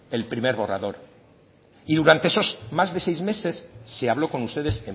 el primer borrador y durante esos más de seis meses se habló con ustedes